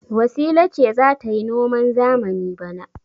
Wasila ce za ta yi noman zamani bana.